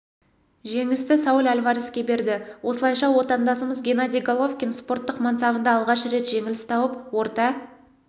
жеңісті сауль альвареске берді осылайша отандасымыз геннадий головкин спорттық мансабында алғаш рет жеңіліс тауып орта